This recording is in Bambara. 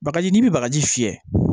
Bagaji n'i bɛ bagaji fiyɛ